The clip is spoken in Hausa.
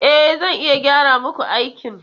E, zan iya gyara muku aikin.